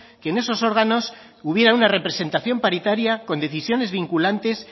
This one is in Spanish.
que en esos órganos hubiera una representación paritaria con decisiones vinculantes